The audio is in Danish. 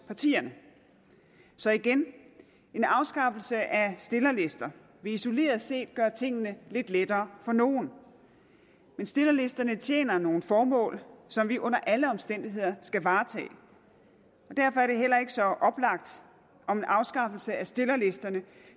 partierne så igen at en afskaffelse af stillerlister isoleret set vil gøre tingene lidt lettere for nogle men stillerlisterne tjener nogle formål som vi under alle omstændigheder skal varetage derfor er det heller ikke så oplagt om en afskaffelse af stillerlisterne